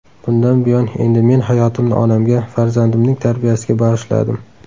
Bundan buyon endi men hayotimni onamga, farzandimning tarbiyasiga bag‘ishladim.